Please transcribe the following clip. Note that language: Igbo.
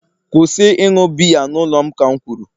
kwụsị ịṅụ biya n'ụlọ m ka m kwuru!